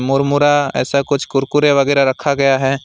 मुरमुरा ऐसा कुछ कुरकुरे वगैरा रखा गया है।